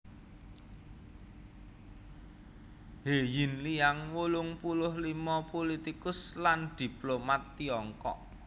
He Zhenliang wolung puluh limo pulitikus lan diplomat Tiongkok